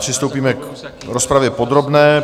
Přistoupíme k rozpravě podrobné.